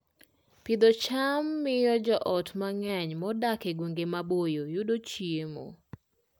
Pidho cham miyo joot mang'eny modak e gwenge maboyo yudo chiemo